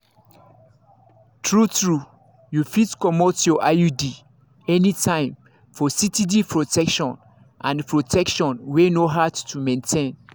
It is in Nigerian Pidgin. true-true you fit comot your iud anytime for steady protection and protection wey no hard to maintain.